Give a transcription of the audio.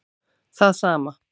Það sama